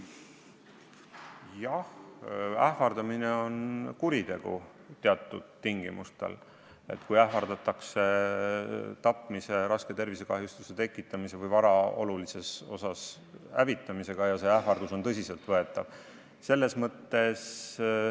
Jah, ähvardamine on kuritegu teatud tingimustel: kui ähvardatakse tapmise, raske tervisekahjustuse tekitamise või vara olulises osas hävitamisega ja see ähvardus on tõsiseltvõetav.